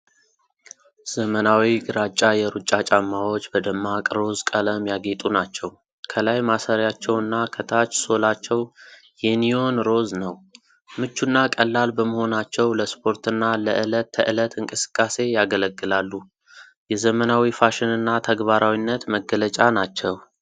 ዘመናዊ ግራጫ የሩጫ ጫማዎች በደማቅ ሮዝ ቀለም ያጌጡ ናቸው። ከላይ ማሰሪያቸውና ከታች ሶላቸው የኒዮን ሮዝ ነው። ምቹና ቀላል በመሆናቸው ለስፖርትና ለዕለት ተዕለት እንቅስቃሴ ያገለግላሉ። የዘመናዊ ፋሽንና ተግባራዊነት መገለጫ ናቸው።